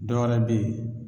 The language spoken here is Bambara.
Dɔwɛrɛ be ye